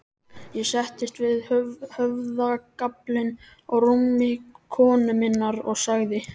Ég settist við höfðagaflinn á rúmi konu minnar og sagði